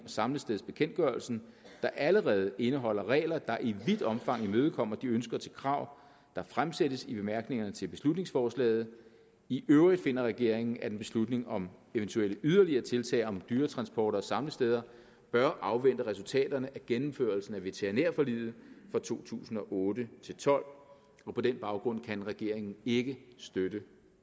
samlestedsbekendtgørelsen der allerede indeholder regler der i vidt omfang imødekommer de ønsker til krav der fremsættes i bemærkningerne til beslutningsforslaget i øvrigt finder regeringen at en beslutning om eventuelle yderligere tiltag om dyretransporter og samlesteder bør afvente resultaterne af gennemførelsen af veterinærforliget for to tusind og otte til tolv og på den baggrund kan regeringen ikke støtte